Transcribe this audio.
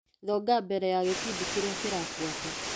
Thonga mbere ya gĩbindi kĩrĩa kĩrabuata .